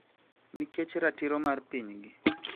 Nikech ratiro mar pinygi